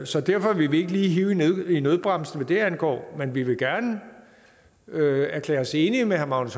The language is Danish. så derfor vil vi ikke lige hive i nødbremsen hvad det angår men vi vil gerne erklære os enige med herre magnus